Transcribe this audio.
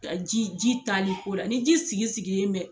Ka ji ji tali ko la, ni ji sigi sigilen bɛ.